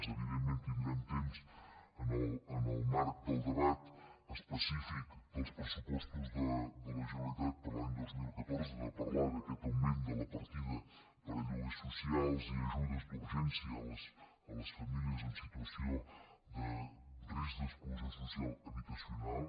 evidentment tindrem temps en el marc del debat específic dels pressupostos de la generalitat per a l’any dos mil catorze de parlar d’aquest augment de la partida per a lloguers socials i ajudes d’urgència a les famílies en situació de risc d’exclusió social habitacional